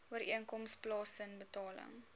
ooreenkoms plaasen betaling